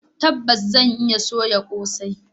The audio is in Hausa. Tabbas zan iya soya kosai.